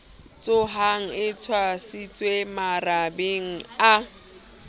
tshohang e tshwasitswe marabeng a